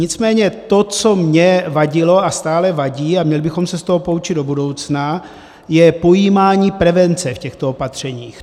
Nicméně to, co mně vadilo a stále vadí, a měli bychom se z toho poučit do budoucna, je pojímání prevence v těchto opatřeních.